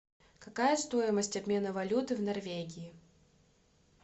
какая стоимость обмена валюты в норвегии